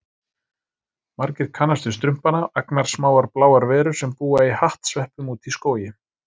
Margir kannast við Strumpana, agnarsmáar bláar verur sem búa í hattsveppum úti í skógi.